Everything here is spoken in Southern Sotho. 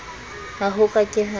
ha ho ka ke ha